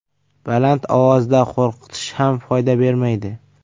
Baland ovozda qo‘rqitish ham foyda bermaydi.